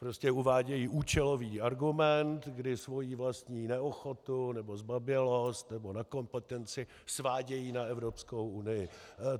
Prostě uvádějí účelový argument, kdy svoji vlastní neochotu nebo zbabělost nebo nekompetenci svádějí na Evropskou unii.